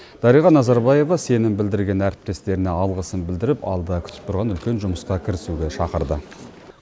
дариға назарбаева сенім білдірген әріптестеріне алғысын білдіріп алда күтіп тұрған үлкен жұмысқа кірісуге шақырды